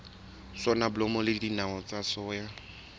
soneblomo le dinawa tsa soya